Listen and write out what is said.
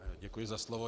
Děkuji za slovo.